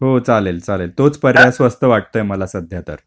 हो चालेल चालेल तोच पर्याय स्वस्त वाटतोय मला सध्या तर.